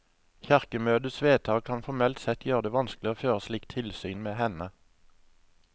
Kirkemøtets vedtak kan formelt sett gjøre det vanskelig å føre slikt tilsyn med henne.